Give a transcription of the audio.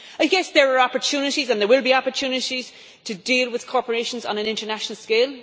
I guess that there are opportunities, and there will be opportunities, to deal with corporations on an international scale.